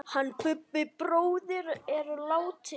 Hann Bubbi bróðir er látinn.